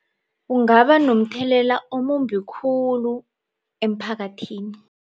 Ungaba nomthelela omumbi khulu emphakathini.